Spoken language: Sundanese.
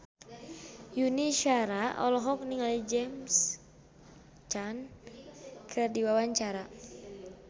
Yuni Shara olohok ningali James Caan keur diwawancara